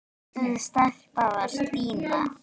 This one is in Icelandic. Þessi stelpa var Stína.